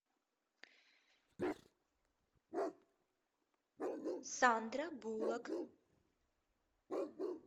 сандра буллок